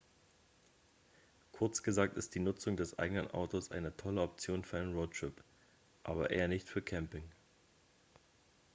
kurz gesagt ist die nutzung des eigenen autos eine tolle option für einen roadtrip aber eher nicht für camping